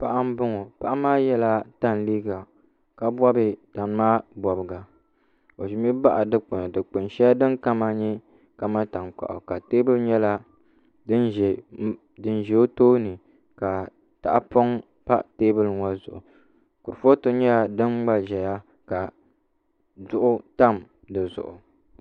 Paɣa n boŋo paɣa maa yɛla tani liiga ka bob tani maa bobga o ʒimi baɣa dikpuni dikpuni shɛli din kama nyɛ kamani tankpaɣu ka teebuli nyɛla din ʒɛ o tooni ka tahapoŋ tam teebuli ŋo zuɣu kurifooti nyɛla din gba ʒɛya ka duɣu tam dizuɣu